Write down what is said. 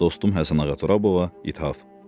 Dostum Həsənağa Turabova ithaf.